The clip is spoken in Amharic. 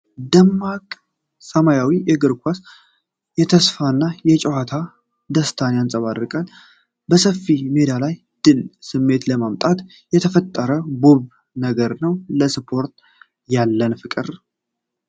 ይህ ደማቅ ሰማያዊ እግር ኳስ የተስፋና የጨዋታ ደስታን ያንጸባርቃል። በሰፊ ሜዳ ላይ የድል ስሜትን ለማምጣት የተፈጠረ ውብ ነገር ነው። ለስፖርት ያለን ፍቅር!